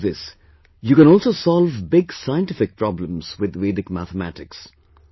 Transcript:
Not only this, you can also solve big scientific problems with Vedic mathematics